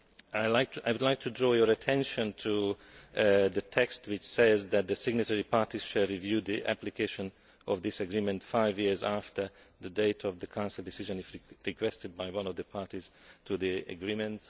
I would like to draw your attention to the text which says that the signatory parties shall review the application of this agreement five years after the date of the Council decision if requested by one of the parties to the agreement.